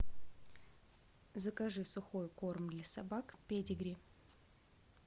закажи сухой корм для собак педигри